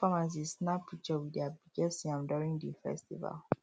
farmers dey snap picture with their biggest yam during the festival